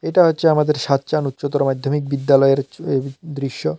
এটা হচ্ছে আমাদের সাচ্চান উচ্চতর মাধ্যমিক বিদ্যালয়ের হচ্ছে এই দৃশ্য।